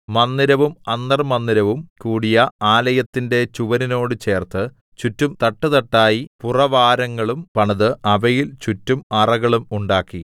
മന്ദിരവും അന്തർമ്മന്ദിരവും കൂടിയ ആലയത്തിന്റെ ചുവരിനോട് ചേർത്ത് ചുറ്റും തട്ടുതട്ടായി പുറവാരങ്ങളും പണിത് അവയിൽ ചുറ്റും അറകളും ഉണ്ടാക്കി